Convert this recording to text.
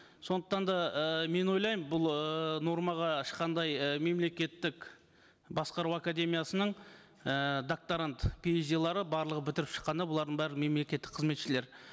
сондықтан да ыыы мен ойлаймын бұл ыыы нормаға ешқандай і мемлекеттік басқару академиясының і докторант пи эйч дилары барлығы бітіріп шыққанда бұлардың бәрі мемлекеттік қызметшілер